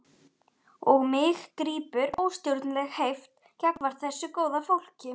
Og mig grípur óstjórnleg heift gagnvart þessu góða fólki.